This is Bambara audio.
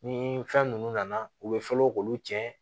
Ni fɛn ninnu nana u bɛ fɔlɔ k'u tiɲɛ